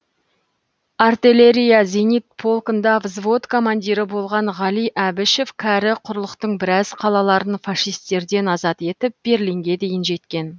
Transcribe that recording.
артеллерия зенит полкында взвод командирі болған ғали әбішев кәрі құрлықтың біраз қалаларын фашистерден азат етіп берлинге дейін жеткен